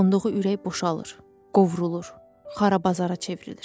Toxunduğu ürək boşalır, qovrulur, xarabazara çevrilir.